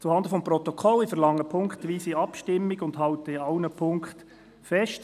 Zuhanden des Protokolls: Ich verlange eine punktweise Abstimmung und halte an allen Punkten fest.